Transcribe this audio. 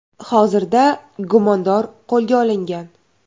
Hozirda gumondor qo‘lga olingan.